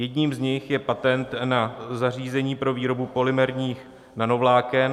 Jedním z nich je patent na zařízení pro výrobu polymerních nanovláken.